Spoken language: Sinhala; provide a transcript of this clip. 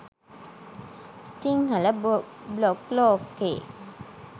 සිංහල බ්ලොග් ලෝකේ